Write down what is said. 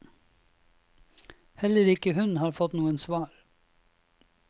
Heller ikke hun har fått noe svar.